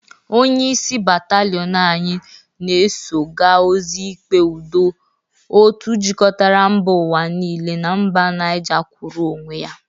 Onyeisi bataliọn anyị ga-eso ga ozi ikpe udo otu jikọtara mba ụwa niile na mba Nije kwụrụ onwe ya.